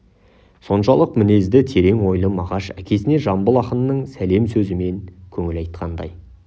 соншалық мінезді терең ойлы мағаш әкесіне жамбыл ақынның сәлем сөзімен көңіл айтқандай